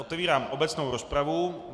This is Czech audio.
Otevírám obecnou rozpravu.